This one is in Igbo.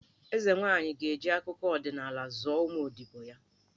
Eze nwaanyị ga-eji akụkọ ọdịnala zụọ ụmụ odibo ya.